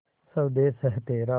स्वदेस है तेरा